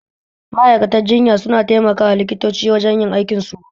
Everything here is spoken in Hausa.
Ma'aikatar jinya suna taimakawa likitoci wajen yin aikin su